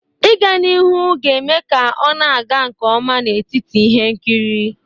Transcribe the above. Ịga n'ihu ga-eme ka ọ na-aga nke ọma n'etiti ihe nkiri.